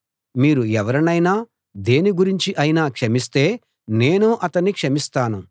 మీరు ఎవరినైనా దేని గురించి అయినా క్షమిస్తే నేనూ అతన్ని క్షమిస్తాను